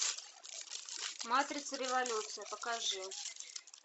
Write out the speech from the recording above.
матрица революция покажи